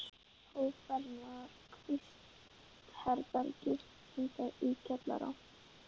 Hóf ferðina þar í kvistherbergi, enda í kjallara.